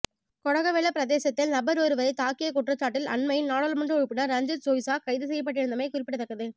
கொடகவெல பிரதேசத்தில் நபரொருவரை தாக்கிய குற்றச்சாட்டில் அண்மையில் நாடாளுமன்ற உறுப்பினர் ரஞ்சித் சொய்சா கைது செய்யப்பட்டிருந்தமை குறிப்பிடத்தக்கது